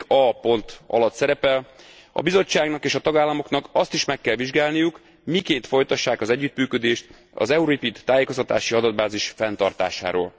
15. cikke a pontja alatt szerepel a Bizottságnak és a tagállamoknak azt is meg kell vizsgálniuk, miként folytassák az együttműködést az EURIPID tájékoztatási adatbázis fenntartásáról.